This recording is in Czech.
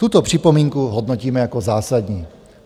Tuto připomínku hodnotíme jako zásadní.